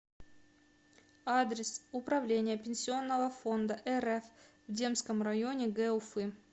адрес управление пенсионного фонда рф в демском районе г уфы